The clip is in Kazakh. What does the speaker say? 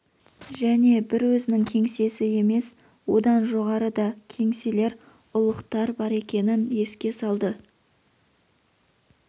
және бір өзінің кеңсесі емес одан жоғары да кеңселер ұлықтар бар екенін еске салды